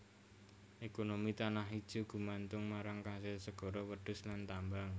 Ekonomi Tanah Ijo gumantung marang kasil segara wedhus lan tambang